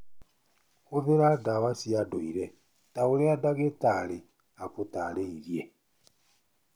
Hũthĩra ndawa cia ndũire ta ũrĩa ndagĩtarĩ akũtaarĩirie.